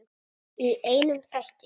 Í einum þætti!